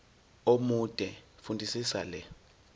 omude fundisisa le